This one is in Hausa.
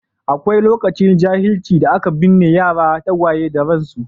Akwai lokacin jahilci da aka binne yara tagwaye da ransu.